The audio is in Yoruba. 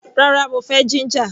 Rárá, mo fẹ́ jíńjà.